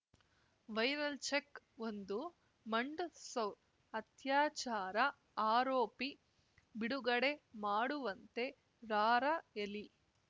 viral ಚೆಕ್‌ಒಂದು ಮಂಡ್‌ಸೌ ಅತ್ಯಾಚಾರ ಆರೋಪಿ ಬಿಡುಗಡೆ ಮಾಡುವಂತೆ ರಾರ‍ಯಲಿ